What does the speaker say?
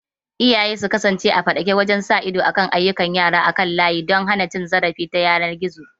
Iyaye su kasance a faɗake wajen sa ido kan ayyukan yara kan layi don hana cin zarafi ta yanar gizo.